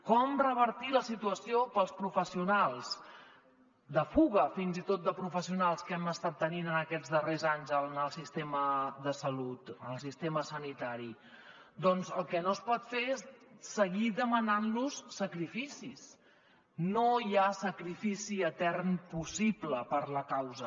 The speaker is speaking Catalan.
com revertir la situació dels professionals de fuga fins i tot de professionals que hem estat tenint en aquests darrers anys en el sistema de salut en el sistema sanitari doncs el que no es pot fer és seguir demanant los sacrificis no hi ha sacrifici etern possible per la causa